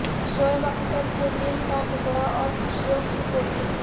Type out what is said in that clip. شعیب اختر کے دل کا ٹکڑا اور خوشیوں کی پوٹلی